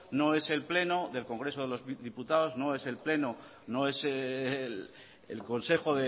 no es el pleno del congreso de los diputados no es el consejo